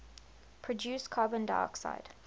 produce carbon dioxide